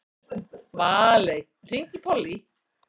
Valey, hringdu í Pollý.